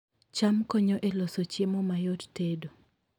cham konyo e loso chiemo mayot tedo